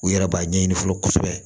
U yɛrɛ b'a ɲɛɲini fɔlɔ kosɛbɛ